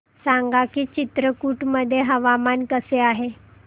सांगा की चित्रकूट मध्ये हवामान कसे आहे